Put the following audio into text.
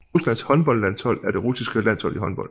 Ruslands håndboldlandshold er det russiske landshold i håndbold